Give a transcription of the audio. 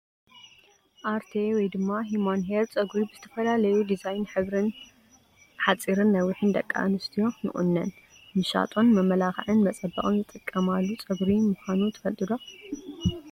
ኣርቴ /ሁማን ሄር/ ፀጉሪ ብዝተፈላለዩ ዲዛይን ሕብርን ሓፂርን ነዊሒን ደቂ ኣንስትዮ ንቁኖን ምሻጦን መመላክዒን መፀበቅን ዝጥቀማሉ ፀጉሪ ምኳኑ ትፈልጡ ዶ?